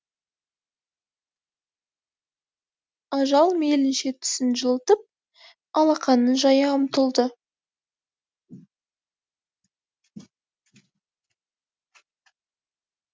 ажал мейлінше түсін жылытып алақанын жая ұмтылды